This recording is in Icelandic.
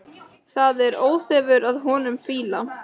Það er óþefur af honum fýla!